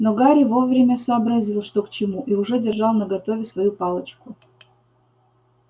но гарри вовремя сообразил что к чему и уже держал наготове свою палочку